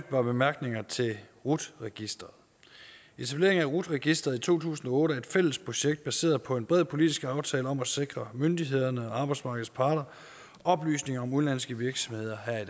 par bemærkninger til rut registeret etableringen af rut registeret i to tusind og otte er et fælles projekt baseret på en bred politisk aftale om at sikre myndighederne og arbejdsmarkedets parter oplysninger om udenlandske virksomheder her i